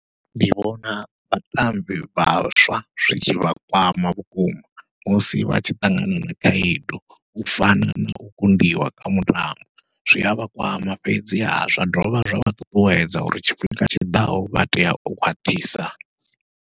Ndi vhona vhatambi vhaswa zwi tshivha kwama vhukuma, musi vha tshi ṱangana na khaedu u fana nau kundiwa kha mutambo zwi avha kwama fhedzi ha zwa dovha zwa vha ṱuṱuwedza uri tshifhinga tshiḓaho vha tea u khwaṱhisa.